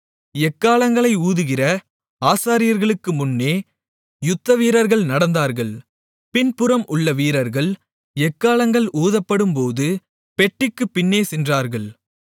எக்காளங்களை ஊதுகிற ஆசாரியர்களுக்கு முன்னே யுத்த வீரர்கள் நடந்தார்கள் பின்புறம் உள்ள வீரர்கள் எக்காளங்கள் ஊதப்படும்போது பெட்டிக்குப் பின்னே சென்றார்கள்